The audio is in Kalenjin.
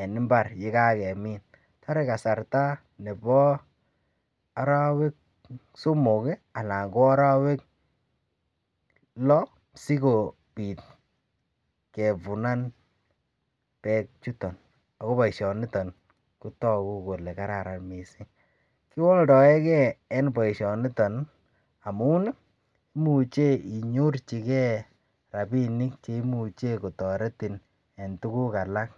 en imbaar yegagemiin, toree kasarta nebo oroweek somok iih alan ko oroweek loo sigobiit kevunan beek chuton ago boishoniton kotogu kole kararan mising. Kiwoldoegee en boishoniton amuun iih imuche inyorchigee rabinik cheimuche kotoretin en tuguk alak.